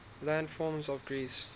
landforms of greece